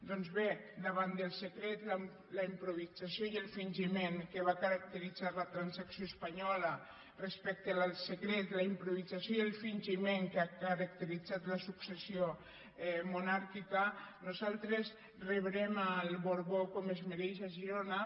doncs bé davant del secret la improvisació i el fingiment que va caracteritzar la transacció espanyola respecte del secret la improvisació i el fingiment que ha caracteritzat la successió monàrquica nosaltres rebrem el borbó com es mereix a girona